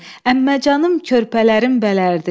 Əmməcanım körpələrin bələrdi.